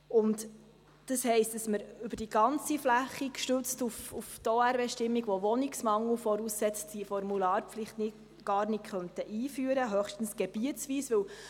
Das heisst, dass wir diese Formularpflicht, gestützt auf die OR-Bestimmung, welche Wohnungsmangel voraussetzt, gar nicht über die ganze Fläche einführen könnten oder höchstens gebietsweise.